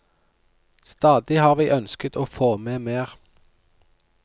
Stadig har vi ønsket å få med mer.